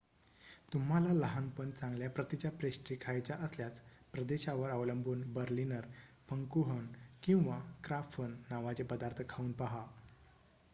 तुम्हाला लहान पण चांगल्या प्रतीच्या पेस्ट्री खायच्या असल्यास प्रदेशावर अवलंबून बर्लिनर फंकूहन किंवा क्राफन नावाचे पदार्थ खाऊन पाहा